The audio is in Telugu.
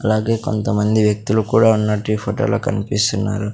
అలాగే కొంతమంది వ్యక్తులు కూడా ఉన్నట్టు ఈ ఫోటోలో కన్పిస్తున్నారు.